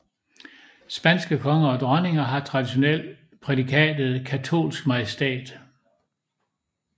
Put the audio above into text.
Spanske konger og dronninger har traditionelt prædikatet katolsk majestæt